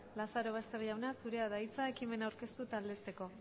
lazarobaster jauna zurea da hitza ekimena aurkeztu eta aldezteko